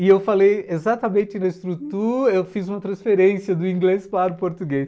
E eu falei, exatamente na estrutura eu fiz uma transferência do inglês para o português.